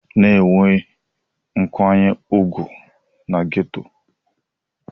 Nwee nkwanye ùgwù na geto!